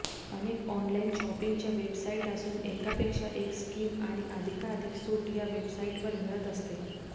अनेक ऑनलाइन शॉपिंगच्या बेवसाईट असून एकापेक्षा एक स्कीम आणि अधिकाधिक सूट या वेबसाइटवर मिळत असते